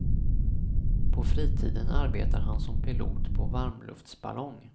På fritiden arbetar han som pilot på varmluftsballong.